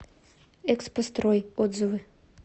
экспострой отзывы